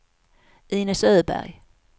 Inez Öberg